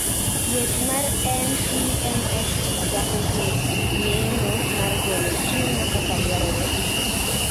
Thieth mar MPNST chako gi yeng'o mar golo tumor kaka dwarore